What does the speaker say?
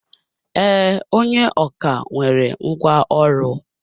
Ee, onye ọkà nwere ngwá ọrụ.